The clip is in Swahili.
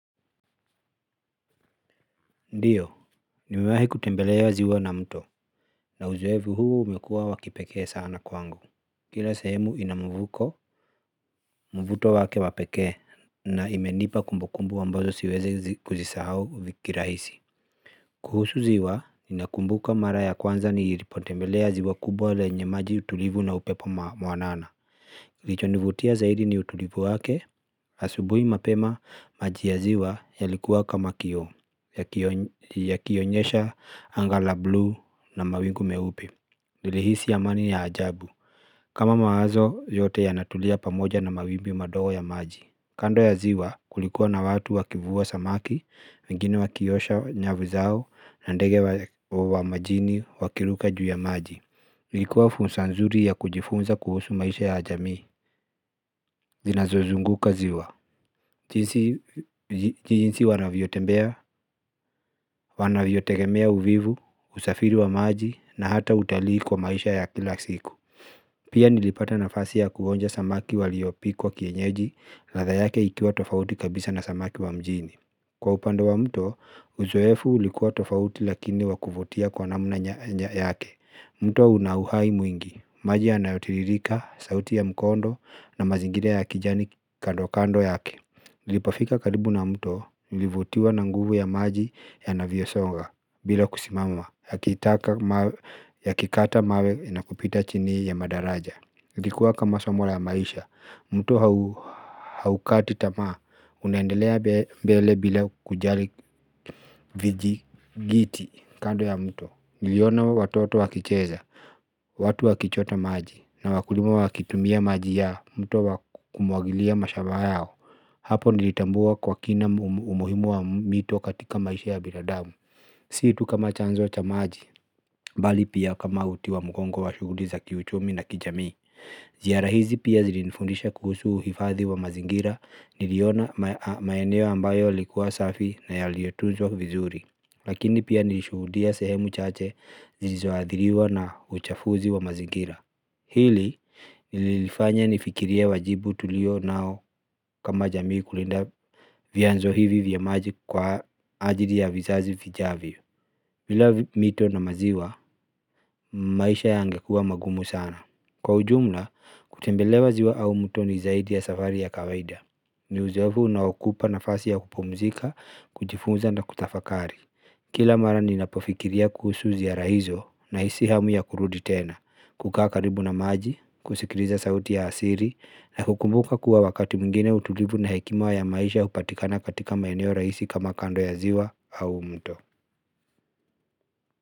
Ndiyo nimewahi kutembelea ziwa na mto na uzoefu huu umekuwa wa kipekee sana kwangu kila sehemu ina mvuto wake wa pekee na imenipa kumbukumbu ambazo siwezi kuzisahau kirahisi kuhusu ziwa nakumbuka mara ya kwanza nilipotembelea ziwa kubwa lenye maji utulivu na upepo mwanana. Kilichonivutia zaidi ni utulivu wake asubuhi mapema maji ya ziwa yalikuwa kama kioo yakionyesha anga la bluu na mawingu meupe. Nilihisi amani ya ajabu, kama mawazo yote yanatulia pamoja na mawimbi madogo ya maji. Kando ya ziwa kulikuwa na watu wakivua samaki, wengine wakiosha nyavu zao na ndege wa majini wakiruka juu ya maji ilikuwa fursa nzuri ya kujifunza kuhusu maisha ya jamii zinazozunguka ziwa jinsi wanaviyotembea, wanaviyotegemea uvuvi, usafiri wa maji na hata utalii kwa maisha ya kila siku pia nilipata nafasi yakuonja samaki waliopikwa kienyeji ladha yake ikiwa tofauti kabisa na samaki wa mjini kwa upande wa mto, uzoefu ulikuwa tofauti lakini wa kuvutia kwa namna yake. Mto wa una uhai mwingi, maji anayotiririka, sauti ya mkondo na mazingira ya kijani kando kando yake. Nilipofika karibu na mto, nilivutiwa na nguvu ya maji yanavyosonga, bila kusimama, yakikata mawe na kupita chini ya madaraja. Ilikuwa kama somo la maisha, mto haukati tamaa, unaendelea mbele bila kujali vijigiti kando ya mto. Niliona watoto wakicheza, watu wakichota maji na wakulimu waki tumia maji ya mto kumwagilia mashamba yao. Hapo nilitambua kwa kina umuhimu wa mito katika maisha ya binadamu si tu kama chanzo cha maji, bali pia kama uti wa mgongo wa shughuli za kiuchumi na kijamii. Ziara hizi pia zilinifundisha kuhusu uhifadhi wa mazingira, niliona maeneo ambayo ilikuwa safi na yaliotuzwa vizuri. Lakini pia nilishuhudia sehemu chache zilizoadhiriwa na uchafuzi wa mazingira hili lilinifanya nifikirie wajibu tulio nao kama jamii kulinda vianzo hivi vya maji kwa ajili ya vizazi vijavyo bila mito na maziwa, maisha yangekuwa magumu sana. Kwa ujumla, kutembelea ziwa au mto ni zaidi ya safari ya kawaida ni uzoefu na ukupa nafasi ya kupumzika, kujifunza na kutafakari kila mara ninapofikiria kuhusu ziara hizo na hisi hamu ya kurudi tena, kukaa karibu na maji, kusikiliza sauti ya asili, na hukumbuka kuwa wakati mwingine utulivu na hekima ya maisha hupatikana katika maeno rahisi kama kando ya ziwa au mto.